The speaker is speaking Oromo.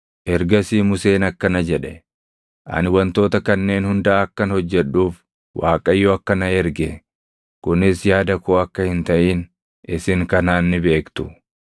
Ergasii Museen akkana jedhe; “Ani wantoota kanneen hunda akkan hojjedhuuf Waaqayyo akka na erge, kunis yaada koo akka hin taʼin isin kanaan ni beektu: